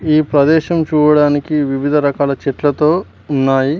ఈ ప్రదేశం చూడడానికి వివిధ రకాల చెట్లతో ఉన్నాయి.